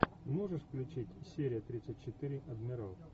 можешь включить серия тридцать четыре адмирал